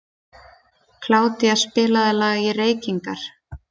Kládía, spilaðu lagið „Reykingar“.